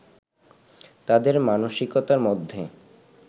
তাঁদের মানসিকতার মধ্যে